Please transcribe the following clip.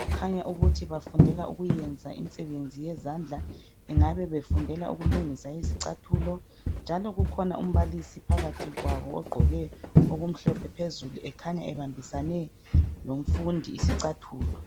kukhanya ukuthi bafundela ukuyenza imisebenzi yezandla bengabe befundela ukulungisa izicathulo njalo kukhona umbalisi phakathi kwabo ogqoke okumhlophe phezulu ekhanya ebambisane lomfundi isicathulo